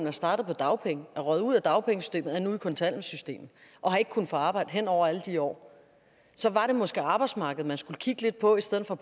er startet på dagpenge er røget ud af dagpengesystemet og er nu i kontanthjælpssystemet og har ikke kunnet få arbejde hen over alle de år så var det måske arbejdsmarkedet man skulle kigge lidt på i stedet for